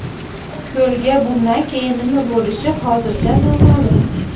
Ko‘lga bundan keyin nima bo‘lishi hozircha noma’lum.